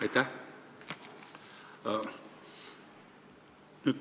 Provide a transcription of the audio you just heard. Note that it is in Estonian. Aitäh!